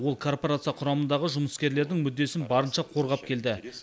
ол корпорация құрамындағы жұмыскерлердің мүддесін барынша қорғап келді